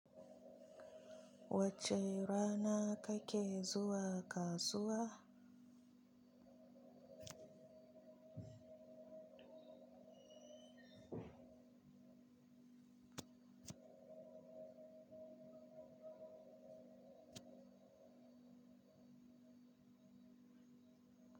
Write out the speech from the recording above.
Wace rana kake zuwa kasuwa?